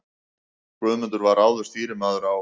Guðmundur var áður stýrimaður á